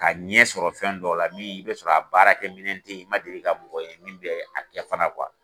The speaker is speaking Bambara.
Ka ɲɛsɔrɔ fɛn dɔ la min i bɛ sɔrɔ a baarakɛ minɛn tɛ ye i man deli ka mɔgɔ ye min bɛ a kɛ fana